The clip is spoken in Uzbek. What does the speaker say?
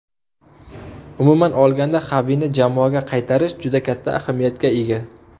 Umuman olganda Xavini jamoaga qaytarish juda katta ahamiyatga ega.